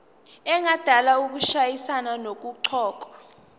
engadala ukushayisana nokuqokwa